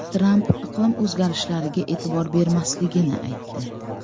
Tramp iqlim o‘zgarishlariga e’tibor bermasligini aytdi.